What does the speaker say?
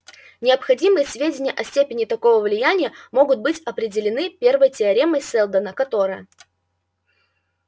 необходимые сведения о степени такого влияния могут быть определены первой теоремой сэлдона которая